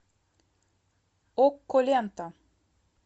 окко лента